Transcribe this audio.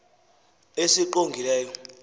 esingqongileyo